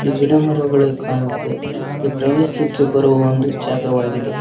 ಗಿಡಮರಗಳು ಕಾಣುತ್ತೆ ಇದು ಪ್ರವಾಸಕ್ಕೆ ಬರುವ ಒಂದು ಜಾಗವಾಗಿದೆ.